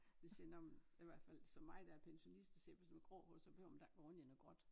Jeg siger nå men der i hvert fald som mig der er pensionist og ser på sådan noget grå hår så behøver man da ikke gå rundt i noget gråt